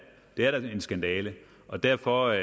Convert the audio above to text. er da en skandale og derfor er